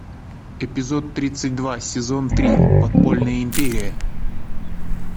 эпизод тридцать два сезон три подпольная империя